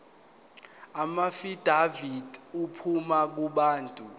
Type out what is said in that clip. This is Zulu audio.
amaafidavithi aphuma kubantu